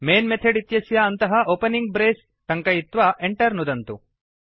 man method इत्यस्य अन्तः opening brace टङ्कयित्वा Enter नुदन्तु